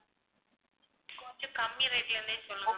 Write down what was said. கொஞ்சம் கம்மி rate ல இருந்தே சொல்லுங்க ma'am